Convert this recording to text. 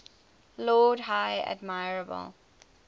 lord high admiral